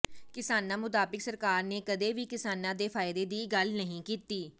ਕਿਸਾਨਾਂ ਮੁਤਾਬਿਕ ਸਰਕਾਰ ਨੇ ਕਦੇ ਵੀ ਕਿਸਾਨਾਂ ਦੇ ਫ਼ਾਇਦੇ ਦੀ ਗੱਲ ਨਹੀਂ ਕੀਤੀ